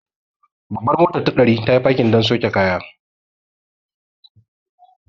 Babbar motar ta ɗari, tayi fakin don sauke kaya.